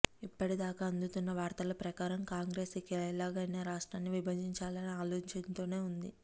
ఇప్పటి దాకా అందుతున్న వార్తల ప్రకారం కాంగ్రెస్ ఇక ఎలాగైనా రాష్ట్రాన్ని విభజించాలనే ఆలోచనతోనే వుంది